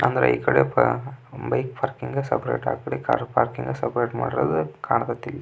ಅಂದ್ರೆ ಈ ಕಡೆ ಪ ಬೈಕ್ ಪಾರ್ಕಿಂಗ್ ಸೆಪೆರೇಟ್ ಆಕಡೆ ಕಾರ್ ಪಾರ್ಕಿಂಗ್ ಸೆಪೆರೇಟ್ ಮಾಡಿರೋದು ಕಾಣತೇತಿ ಇಳ್ಳಿ.